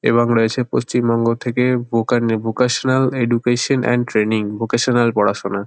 এবং রয়েছে পশ্চিমবঙ্গ থেকে ভোকান vocational education and training . Vocational পড়াশুনা।